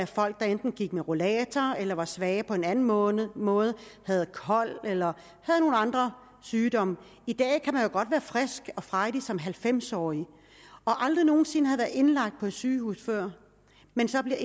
folk der enten gik med rollator eller var svage på en anden måde måde havde kol eller havde nogle andre sygdomme i dag kan man jo godt være frisk og frejdig som halvfems årig og aldrig nogen sinde have været indlagt på et sygehus før men så bliver